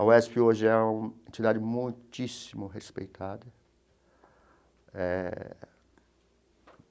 A UESP hoje é uma entidade muitíssimo respeitada eh.